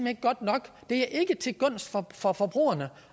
er godt nok det er ikke til gunst for forbrugerne